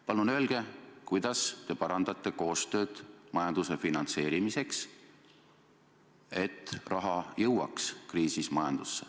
Palun öelge, kuidas te parandate koostööd majanduse finantseerimiseks, et raha jõuaks praeguses kriisis majandusse.